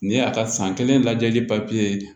Nin y'a ka san kelen lajɛli ye